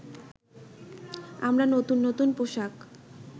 আমরা নতুন নতুন পোশাক